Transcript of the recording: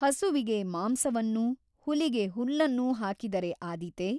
ಹಸುವಿಗೆ ಮಾಂಸವನ್ನೂ ಹುಲಿಗೆ ಹುಲ್ಲನ್ನೂ ಹಾಕಿದರೆ ಆದೀತೆ?